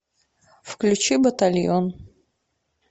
включи батальон